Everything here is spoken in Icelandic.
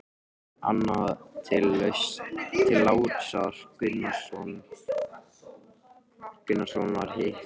Annað til Lárusar Gunnarssonar, hitt til Jóels.